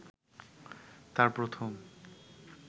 তাঁর প্রথম